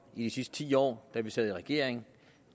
i de sidste ti år da vi sad i regering